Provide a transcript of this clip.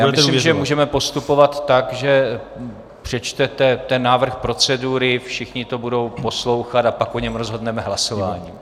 Já myslím, že můžeme postupovat tak, že přečtete ten návrh procedury, všichni to budou poslouchat, a pak o něm rozhodneme hlasováním.